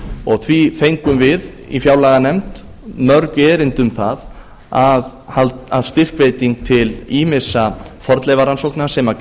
og því fengum við í fjárlaganefnd mörg erindi um það að styrkveiting til ýmissa fornleifarannsókna sem